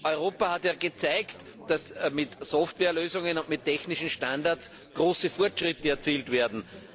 Europa hat gezeigt, dass mit Softwarelösungen und mit technischen Standards große Fortschritte erzielt werden.